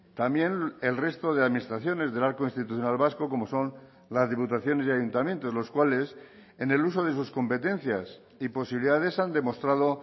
también el resto de administraciones del arco institucional vasco como son las diputaciones y ayuntamientos los cuales en el uso de sus competencias y posibilidades han demostrado